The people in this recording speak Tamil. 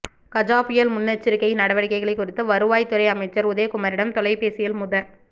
கஜா புயல் முன்னெச்சரிக்கை நடவடிக்கைகள் குறித்து வருவாய்த்துறை அமைச்சர் உதயகுமாரிடம் தொலைபேசியில் முத